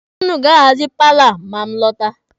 Ụnụ ga-ahazi paalọ a ma m lọta.